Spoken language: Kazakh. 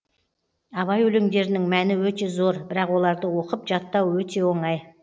абай өлеңдерінің мәні өте зор бірақ оларды оқып жаттау өте оңай